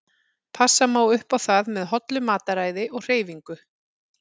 Passa má upp á það með hollu mataræði og hreyfingu.